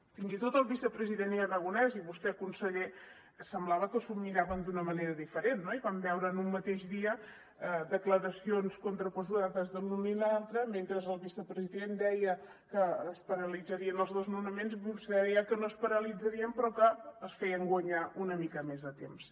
fins i tot el vicepresident aragonès i vostè conseller semblava que s’ho miraven d’una manera diferent no i vam veure en un mateix dia declaracions contraposades de l’un i l’altre mentre el vicepresident deia que es paralitzarien els desnonaments vostè deia que no es paralitzarien però que els feien guanyar una mica més de temps